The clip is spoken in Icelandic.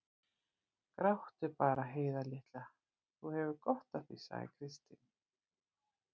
Gráttu bara, Heiða litla, þú hefur gott af því, sagði Kristín.